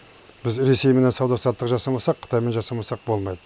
біз ресейменен сауда саттық жасамасақ қытаймен жасамасақ болмайды